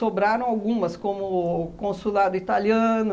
algumas, como Consulado Italiano,